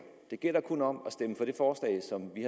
det gælder kun om